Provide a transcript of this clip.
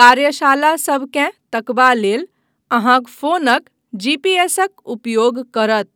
कार्यशालासभ केँ तकबा लेल अहाँक फोनक जीपीएसक उपयोग करत।